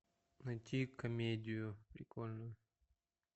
найти комедию прикольную